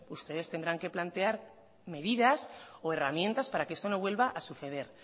ustedes tendrán que plantear medidas o herramientas para que esto no vuelva a suceder